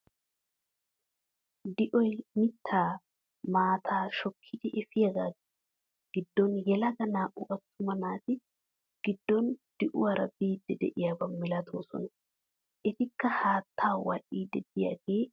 Di'oy mittaa maataa shokkidi efiyagaa giddon yelaga naa"u aattuma naati giddon de'uwaara biidi de'iyaaba milattoosona. etikka haattaa wadhiidi de'iyoogee ayba yashshii!